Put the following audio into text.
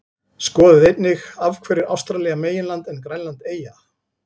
Skoðið einnig: Af hverju er Ástralía meginland en Grænland eyja?